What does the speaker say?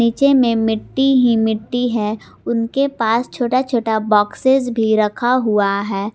नीचे में मिट्टी ही मिट्टी है उनके पास छोटा छोटा बॉक्सेस भी रखा हुआ है।